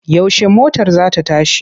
Yaushe motar za ta tashi?